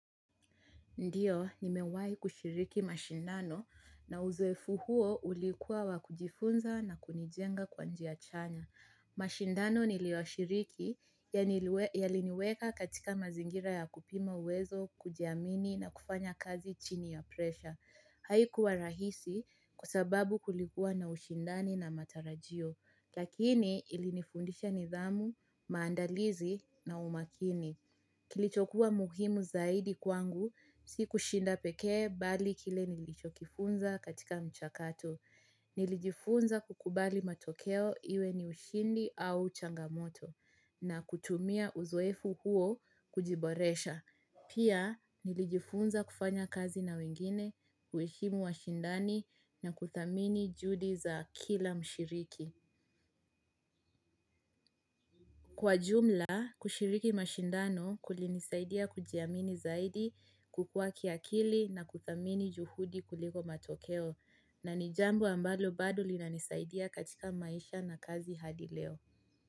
Ndiyo, nimewai kushiriki mashindano na uzoefu huo ulikuwa wa kujifunza na kunijenga kwa njiachanya. Mashindano niliwa shiriki ya liniweka katika mazingira ya kupima uwezo, kujiamini na kufanya kazi chini ya presha. Haikuwa rahisi kwasababu kulikuwa na ushindani na matarajio. Lakini ilinifundisha nidhamu, maandalizi na umakini. Kilichokua muhimu zaidi kwangu, si kushinda pekee bali kile nilichokifunza katika mchakato. Nilijifunza kukubali matokeo iwe ni ushindi au changamoto na kutumia uzoefu huo kujiboresha. Pia nilijifunza kufanya kazi na wengine, kueshimu wa shindani na kuthamini juhudi za kila mshiriki. Kwa jumla, kushiriki mashindano kulinisaidia kujiamini zaidi kukua kiakili na kuthamini juhudi kuliko matokeo na nijambo ambalo bado linanisaidia katika maisha na kazi hadileo.